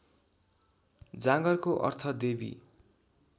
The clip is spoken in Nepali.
जागरको अर्थ देवी